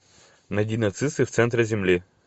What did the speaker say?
найди нацисты в центре земли